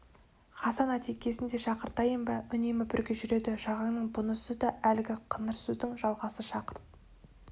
хасан атекесін де шақыртайын ба үнемі бірге жүреді жағанның бұнысы да әлгі қыңыр сөздің жалғасы шақырт